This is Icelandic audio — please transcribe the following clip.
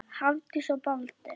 Hafdís og Baldur.